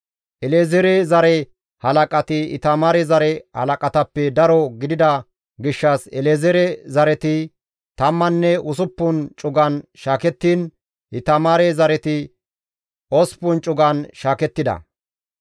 El7ezeere zare halaqati Itamaare zare halaqatappe daro gidida gishshas El7ezeere zareti tammanne usuppun cugan shaakettiin, Itamaare zareti osppun cugan shaakettida.